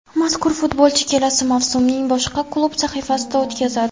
Mazkur futbolchi kelasi mavsumni boshqa klub safida o‘tkazadi.